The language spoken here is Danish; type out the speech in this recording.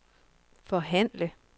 forhandle